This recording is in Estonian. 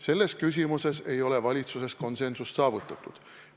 Selles küsimuses ei ole valitsuses konsensust saavutatud.